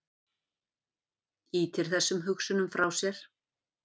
Ýtir þessum hugsunum frá sér.